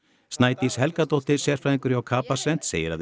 Snædís Helgadóttir sérfræðingur hjá Capacent segir að